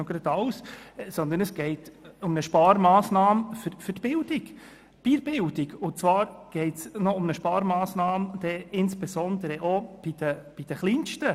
Es geht um eine Sparmassnahme bei der Bildung, insbesondere auch bei den Kleinsten.